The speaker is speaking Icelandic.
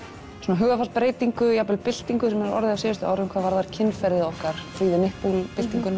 hugarfarsbreytingu jafnvel byltingu sem hefur orðið á síðustu árum hvað varðar kynferðið okkar free the nipple